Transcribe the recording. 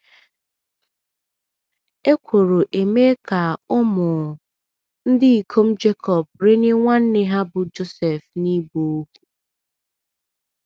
um Ekworo emee ka ụmụ um ndị ikom Jekọb renye nwanne ha bụ́ Josef n’ịbụ ohu.